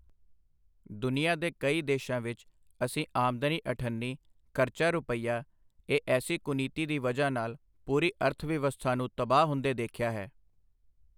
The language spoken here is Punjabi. ਦੁਨੀਆ ਦੇ ਕਈ ਦੇਸ਼ਾਂ ਵਿੱਚ ਅਸੀਂ ਆਮਦਨੀ ਅਠੱਨੀ, ਖਰਚਾ ਰੁਪਇਆ ਇਹ ਐਸੀ ਕੁਨੀਤੀ ਦੀ ਵਜ੍ਹਾ ਨਾਲ ਪੂਰੀ ਅਰਥਵਿਵਸਥਾ ਨੂੰ ਤਬਾਹ ਹੁੰਦੇ ਦੇਖਿਆ ਹੈ।